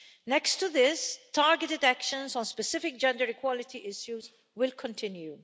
Next to this, targeted actions on specific gender-equality issues will continue.